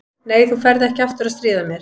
Nei, þú ferð ekki aftur að stríða mér.